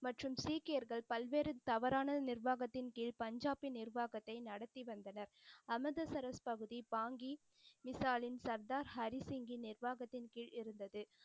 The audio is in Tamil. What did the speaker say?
மற்றும் சீக்கியர்கள் பல்வேறு தவறான நிர்வாகத்தின் கீழ் பஞ்சாபின் நிர்வாகத்தை நடத்தி வந்தனர். அமிர்தசரஸ் பகுதி பாங்கி மிசாலின் சர்தார் ஹரி சிங்கின் நிர்வாகத்தின் கீழ் இருந்தது.